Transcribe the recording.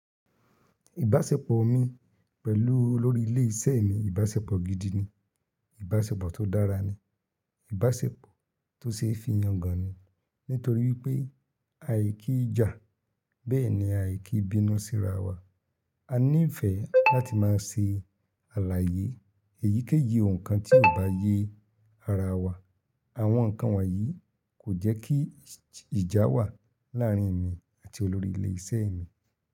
Ìbáṣepọ̀ mi pẹ̀lú olórí ilé iṣẹ́ mi ìbáṣepọ̀ gidi ni, ìbáṣepọ̀ tó dára ni, ìbáṣepọ̀ tó ṣe é fi yangàn ni. Nítorí wípé àì kí ja, bẹ́ẹ̀ ni àì kí bínú síra wa. A níìfẹ̀ láti máa ṣe àlàyé èyíkéyìí ohun kan tí ò bá yẹ ara wa. Àwọn ǹkan wọ̀nyí kò jẹ́ kí ìjà wà láàárín èmi àti olórí ilé iṣẹ́ mi.